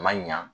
A ma ɲa